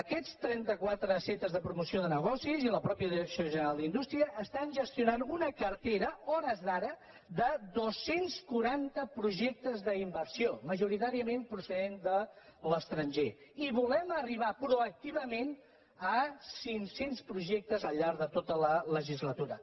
aquests trenta quatre centres de promoció de negocis i la mateixa direcció general d’indústria estan gestionant una cartera a hores d’ara de dos cents i quaranta projectes d’inversió majoritàriament procedent de l’estranger i volem arribar proactivament a cinc cents projectes al llarg de tota la legislatura